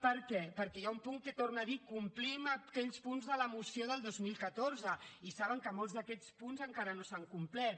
per què perquè hi ha un punt que torna a dir complim aquells punts de la moció del dos mil catorze i saben que molts d’aquests punts encara no s’han complert